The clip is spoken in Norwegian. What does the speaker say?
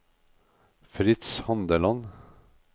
Fritz Handeland